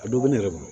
A dɔ bɛ ne yɛrɛ bolo